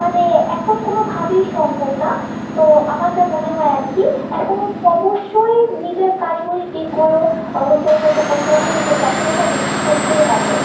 মানে এখন কোনোভাবেই সম্ভব না। তো আমার যা মনে হয় আর কী এখনো অবশ্যই নিজের কারিগরির দিকগুলো হচ্ছে উন্নত করতে হবে, নিজের দক্ষতা বৃদ্ধি করতেই হবে।